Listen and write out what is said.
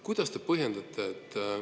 Kuidas te põhjendate seda?